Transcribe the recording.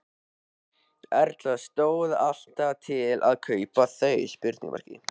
Erla: Stóð alltaf til að kaupa þau?